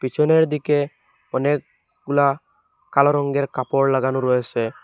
পিছনের দিকে অনেকগুলা কালো রঙ্গের কাপড় লাগানো রয়েসে।